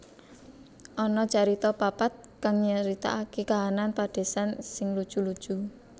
Ana carita papat kang nyritaaké kahanan padésan sing lucu lucu